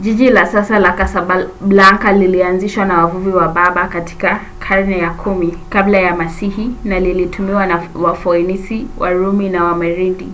jiji la sasa la kasablanka lilianzishwa na wavuvi wa berber katika karne ya 10 kabla ya masihi na lilitumiwa na wafoenisi warumi na wamerenidi